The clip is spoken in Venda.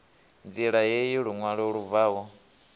ṋdila heyi luṅwalo lu bvaho